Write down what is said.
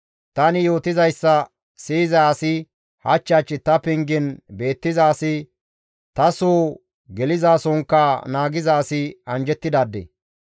Tani yootizayssa siyiza asi, hach hach ta pengen beettiza asi, taso gelizasonkka naagiza asi anjjettidaade.